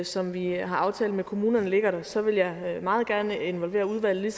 som vi har aftalt med kommunerne ligger der så vil jeg meget gerne involvere udvalget